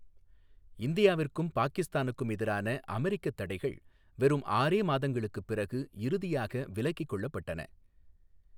இந்தியாவிற்கும் பாகிஸ்தானுக்கும் எதிரான அமெரிக்கத் தடைகள் வெறும் ஆறே மாதங்களுக்குப் பிறகு இறுதியாக விலக்கிக் கொள்ளப்பட்டன.